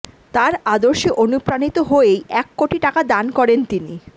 তাঁর আদর্শে অনুপ্রাণিত হয়েই এক কোটি টাকা দান করেন তিনি